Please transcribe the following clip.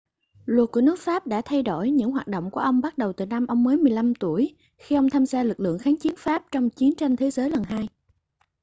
luật của nước pháp đã thay đổi những hoạt động của ông bắt đầu từ năm ông mới 15 tuổi khi ông tham gia lực lượng kháng chiến pháp trong chiến tranh thế giới lần 2